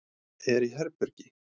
Er í herbergi.